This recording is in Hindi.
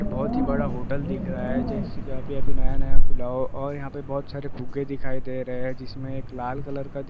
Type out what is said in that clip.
बड़ा होटल दिख रहा है जैसे की अभी -अभी नया- नया खुला हो और यहाँ पे बहुत सारे फुग्गे दिखाई दे रहे है जिसमे एक लाल कलर का दिख रहा है।